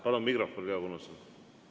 Palun mikrofon Leo Kunnasele!